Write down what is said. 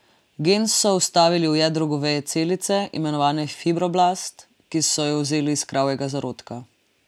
Gen so vstavili v jedro goveje celice, imenovane fibroblast, ki so jo vzeli iz kravjega zarodka.